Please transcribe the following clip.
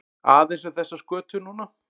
Aðeins um þessa skötu núna?